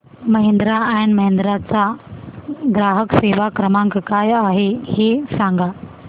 Mahindra and Mahindra चा ग्राहक सेवा क्रमांक काय आहे हे सांगा